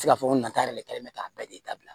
nata yɛrɛ de kɛlen bɛ k'a bɛɛ de dabila